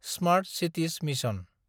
smart cities mission